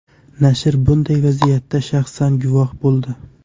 Nashr bunday vaziyatga shaxsan guvoh bo‘ldi.